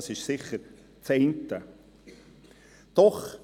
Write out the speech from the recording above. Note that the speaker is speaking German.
Das ist sicher das eine.